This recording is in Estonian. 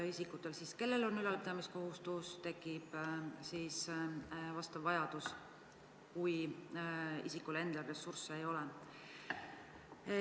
Isikutel, kellel on ülalpidamiskohustus, tekib siis vastav vajadus, kui inimesel endal ressursse ei ole.